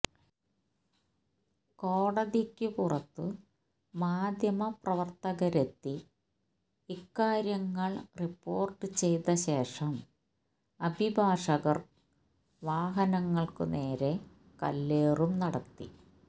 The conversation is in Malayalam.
കോടതിക്കു പുറത്തു മാധ്യമപ്രവര്ത്തകര് എത്തി ഇക്കാര്യങ്ങള് റിപ്പോര്ട്ട് ചെയ്ത ശേഷം അഭിഭാഷകര് വാഹനങ്ങള്ക്കുനേരേ കല്ലേറും നടത്തി